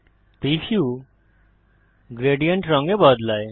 preview gradient রং এ বদলায়